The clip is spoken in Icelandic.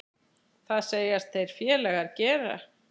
Það segjast þeir félagar gera.